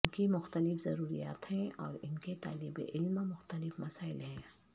ان کی مختلف ضروریات ہیں اور ان کے طالب علم مختلف مسائل ہیں